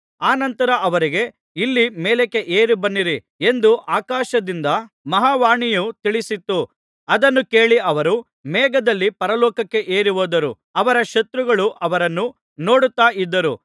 ಅನಂತರ ಅವರಿಗೆ ಇಲ್ಲಿ ಮೇಲಕ್ಕೆ ಏರಿ ಬನ್ನಿರಿ ಎಂದು ಆಕಾಶದಿಂದ ಮಹಾ ವಾಣಿಯು ತಿಳಿಸಿತು ಅದನ್ನು ಕೇಳಿ ಅವರು ಮೇಘದಲ್ಲಿ ಪರಲೋಕಕ್ಕೆ ಏರಿಹೋದರು ಅವರ ಶತ್ರುಗಳು ಅವರನ್ನು ನೋಡುತ್ತಾ ಇದ್ದರು